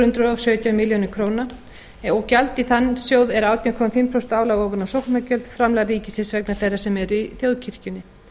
og sautján milljónir króna gjald í þann sjóð er átján og hálft prósent álag ofan á sóknargjöld framlag ríkisins vegna þeirra sem eru í þjóðkirkjunni